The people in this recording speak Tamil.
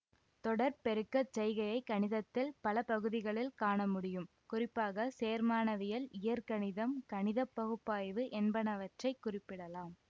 தொடர் பெருக்க செய்கையைக் கணிதத்தில் பல பகுதிகளில் காணமுடியும் குறிப்பாக சேர்மானவியல் இயற்கணிதம் கணித பகுப்பாய்வு என்பனவற்றைக் குறிப்பிடலாம்